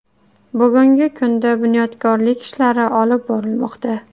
Bugungi kunda bunyodkorlik ishlari olib borilmoqda.